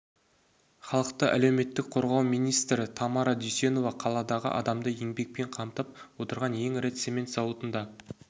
халықты әлеуметтік қорғау министірі тамара дүйсенова қаладағы адамды еңбекпен қамтып отырған ең ірі цемент зауытында